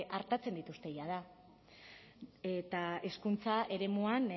artatzen dituzte jada eta hezkuntza eremuan